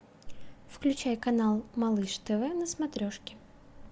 включай канал малыш тв на смотрешке